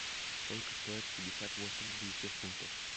сколько стоит пятьдесят восемь английских фунтов